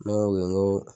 Ne ko n ko